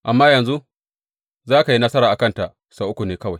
Amma yanzu za ka yi nasara a kanta sau uku ne kawai.